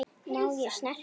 Má ég snerta?